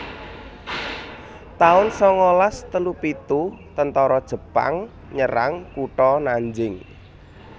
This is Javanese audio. taun sangalas telu pitu Tentara Jepang nyerang kutha Nanjing